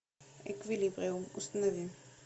эквилибриум установи